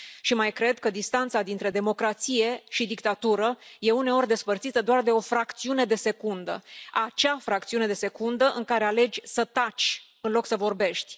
Mai cred că distanța dintre democrație și dictatură e uneori despărțită doar de o fracțiune de secundă, acea fracțiune de secundă în care alegi să taci în loc să vorbești.